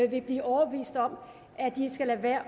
vil blive overbevist om at de skal lade være